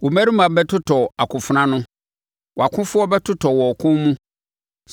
Wo mmarima bɛtotɔ akofena ano, wʼakofoɔ bɛtotɔ wɔ ɔko mu.